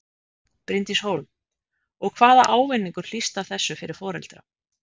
Bryndís Hólm: Og hvaða ávinningur hlýst af þessu fyrir foreldra?